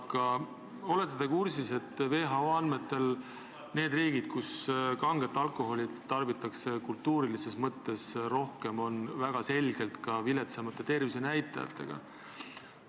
Kas te olete kursis, et WHO andmetel on nendes riikides, kus kanget alkoholi tarbitakse kultuuritausta tõttu rohkem, väga selgelt viletsamad tervisenäitajad?